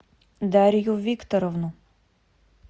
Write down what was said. дарью викторовну